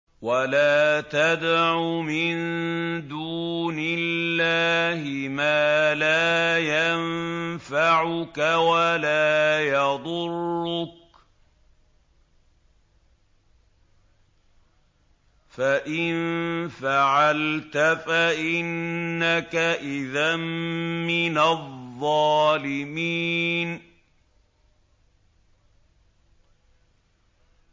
وَلَا تَدْعُ مِن دُونِ اللَّهِ مَا لَا يَنفَعُكَ وَلَا يَضُرُّكَ ۖ فَإِن فَعَلْتَ فَإِنَّكَ إِذًا مِّنَ الظَّالِمِينَ